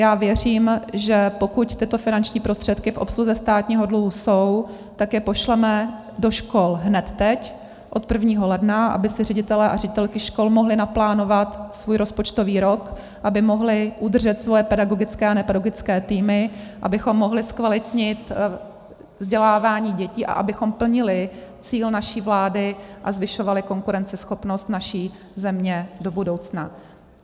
Já věřím, že pokud tyto finanční prostředky v obsluze státního dluhu jsou, tak je pošleme do škol hned teď od 1. ledna, aby si ředitelé a ředitelky škol mohli naplánovat svůj rozpočtový rok, aby mohli udržet svoje pedagogické a nepedagogické týmy, abychom mohli zkvalitnit vzdělávání dětí a abychom plnili cíl naší vlády a zvyšovali konkurenceschopnost naší země do budoucna.